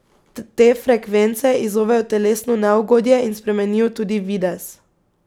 Te frekvence izzovejo telesno neugodje in spremenijo tudi videz.